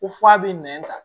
Ko f'a bɛ nɛn ta